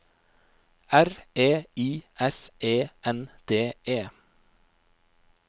R E I S E N D E